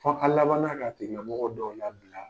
Fɔ an laban na k'o tigila mɔgɔ dɔw labila.